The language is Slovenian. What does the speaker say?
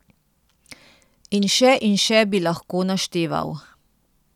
In še in še bi lahko našteval.